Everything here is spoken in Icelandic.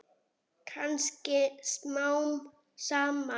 Kannski smám saman.